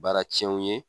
Baara tiɲɛ ye